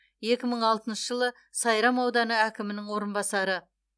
екі мың алтыншы жылы сайрам ауданы әкімінің орынбасары